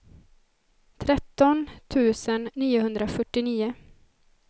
tretton tusen niohundrafyrtionio